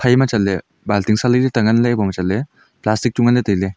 iphaima chatley balting sa lailai le ta nganley iboma chatley plastic chu nganley tailey.